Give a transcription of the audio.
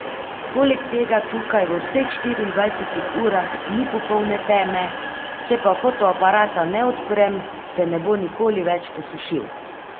Poleg tega tukaj v vseh štiriindvajsetih urah ni popolne teme, če pa fotoaparata ne odprem, se ne bo nikoli več posušil!